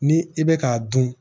Ni i bɛ k'a dun